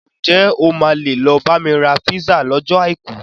Ǹ jẹ́ o máa lè lọ bá mi ra písà lọ́jọ́ Àìkú?